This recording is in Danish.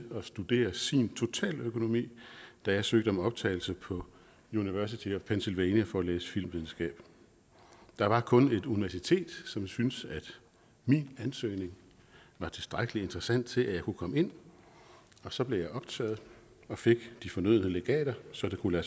at studere sin totaløkonomi da jeg søgte om optagelse på university of pennsylvania for at læse filmvidenskab der var kun et universitet som syntes at min ansøgning var tilstrækkelig interessant til at jeg kunne komme ind og så blev jeg optaget og fik de fornødne legater så det kunne